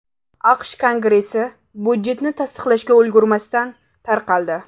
AQSh Kongressi budjetni tasdiqlashga ulgurmasdan tarqaldi.